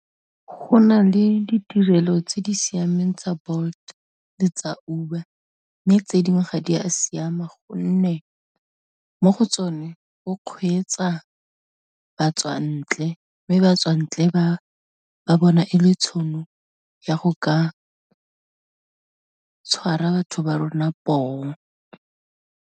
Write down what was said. Go na le ditirelo tse di siameng tsa Bolt le tsa Uber, mme tse dingwe ga di a siama gonne, mo go tsone go kgweetsa batswantle mme batswantle ba, ba bona e le tšhono ya go ka tshwara batho ba rona poo.